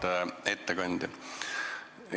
Hea ettekandja!